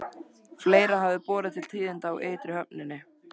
Fleira hafði borið til tíðinda á ytri höfninni.